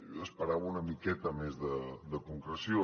jo esperava una miqueta més de concreció